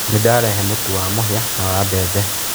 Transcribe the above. Nĩdarehe mũtu wa mũhia na wa bembe.